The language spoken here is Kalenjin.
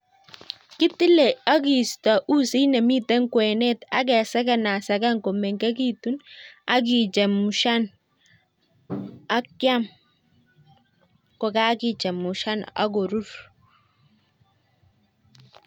Kitile ak kiisto usit nemiten kwenet ak kesekenaseken kemengekitun ak kichemushaan, ak kiam ko kakichemushan ak koruur